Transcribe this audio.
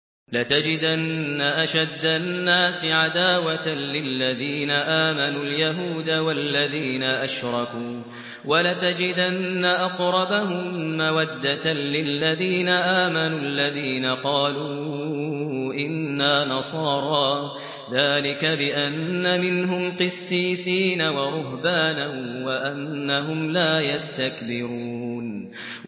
۞ لَتَجِدَنَّ أَشَدَّ النَّاسِ عَدَاوَةً لِّلَّذِينَ آمَنُوا الْيَهُودَ وَالَّذِينَ أَشْرَكُوا ۖ وَلَتَجِدَنَّ أَقْرَبَهُم مَّوَدَّةً لِّلَّذِينَ آمَنُوا الَّذِينَ قَالُوا إِنَّا نَصَارَىٰ ۚ ذَٰلِكَ بِأَنَّ مِنْهُمْ قِسِّيسِينَ وَرُهْبَانًا وَأَنَّهُمْ لَا يَسْتَكْبِرُونَ